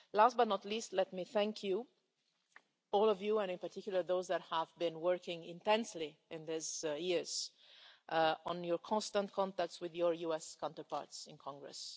Last but not least, let me thank all the House, and in particular those of you who have been working intensely over these years on your constant contacts with your US counterparts in Congress.